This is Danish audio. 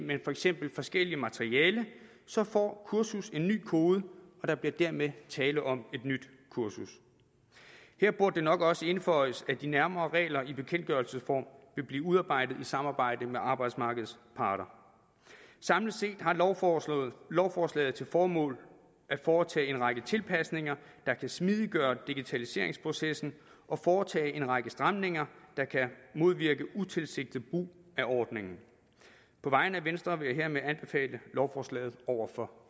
men for eksempel forskellige materialer så får kurset en ny kode og der bliver dermed tale om et nyt kursus her burde det nok også indføjes at de nærmere regler i bekendtgørelsesform vil blive udarbejdet i samarbejde med arbejdsmarkedets parter samlet set har lovforslaget lovforslaget til formål at foretage en række tilpasninger der kan smidiggøre digitaliseringsprocessen og foretage en række stramninger der kan modvirke utilsigtet brug af ordningen på vegne af venstre vil jeg hermed anbefale lovforslaget over for